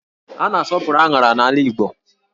A na-asọpụrụ áṅárá n'ala Igbo